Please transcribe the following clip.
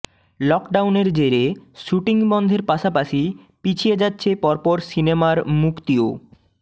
লকডাউনের জেরে শ্যুটিং বন্ধের পাশাপাশি পিছিয়ে যাচ্ছে পরপর সিনেমার মুক্তিও